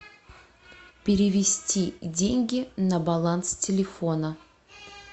перевести деньги на баланс телефона